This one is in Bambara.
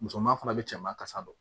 Musoman fana bɛ cɛman kasa don